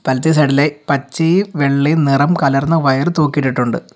വലത്തെ സൈഡിലായി പച്ചയും വെള്ളയും നിറം കലർന്ന വയർ തൂക്കിയിട്ടുണ്ട്.